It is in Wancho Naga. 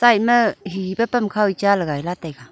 side ma hihi pa pamkhao ee cha ley gaila taiga.